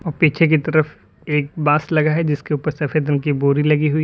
और पीछे की तरफ एक बांस लगा है जिसके ऊपर सफेद रंग की बोरी लगी हुई है।